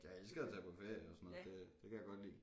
Jeg elsker at tage på ferie og sådan noget det det kan jeg godt lide